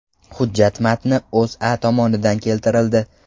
Hujjat matni O‘zA tomonidan keltirildi .